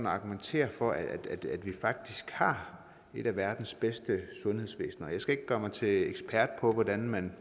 argumentere for at vi faktisk har et af verdens bedste sundhedsvæsener jeg skal ikke gøre mig til ekspert i hvordan man